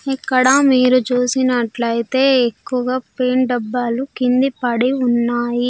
ఇక్కడ మీరు చూసినట్లైతే ఎక్కువ డబ్బాలు కింది పడి ఉన్నాయి.